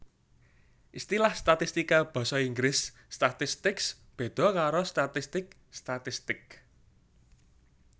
Istilah statistika basa Inggris statistics béda karo statistik statistic